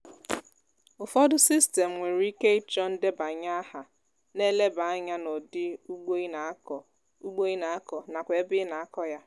ufọdu sistem nwere ike ịchọ ndebanye aha na-eleba anya n'ụdi ugbo ị na-akọ ugbo ị na-akọ nakwa ebe ị na-akọ ya